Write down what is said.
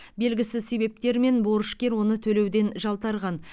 белгісіз себептермен борышкер оны төлеуден жалтарған